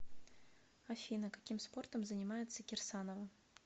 афина каким спортом занимается кирсанова